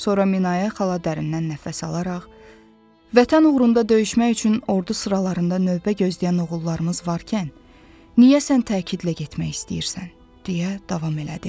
Sonra Minayə xala dərindən nəfəs alaraq, "Vətən uğrunda döyüşmək üçün ordu sıralarında növbə gözləyən oğullarımız varkən, niyə sən təkidlə getmək istəyirsən?" deyə davam elədi.